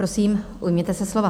Prosím, ujměte se slova.